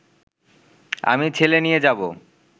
আমি ছেলে নিয়ে যাব